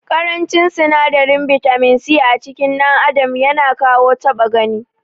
Ƙarancin sinadarin bitamin C acikin dan adam yana kawo ta6a gani.